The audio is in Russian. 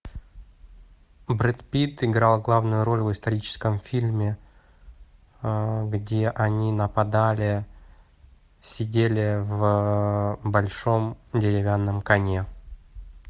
брэд питт играл главную роль в историческом фильме где они нападали сидели в большом деревянном коне